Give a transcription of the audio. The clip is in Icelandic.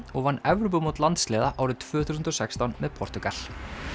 og vann Evrópumót landsliða árið tvö þúsund og sextán með Portúgal